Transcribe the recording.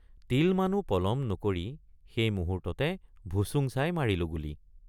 তিলমানো পলম নকৰি সেই মুহূৰ্ততে ভুচুং চাই মাৰিলোঁ গুলী।